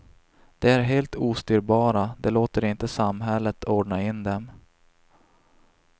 De är helt ostyrbara, de låter inte samhället ordna in dem.